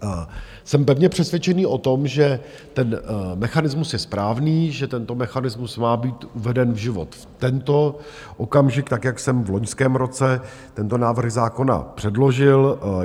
Jsem pevně přesvědčený o tom, že ten mechanismus je správný, že tento mechanismus má být uveden v život v tento okamžik tak, jak jsem v loňském roce tento návrh zákona předložil.